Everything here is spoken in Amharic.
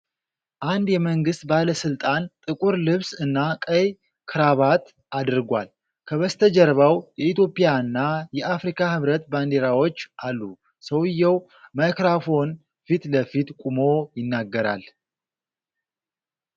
አንድ የመንግስት ባለስልጣን ጥቁር ልብስ እና ቀይ ክራባት አድርጓል። ከበስተጀርባው የኢትዮጵያና የአፍሪካ ህብረት ባንዲራዎች አሉ። ሰውየው ማይክሮፎን ፊት ለፊት ቆሞ ይናገራል።